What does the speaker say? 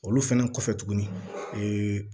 Olu fɛnɛ kɔfɛ tuguni ee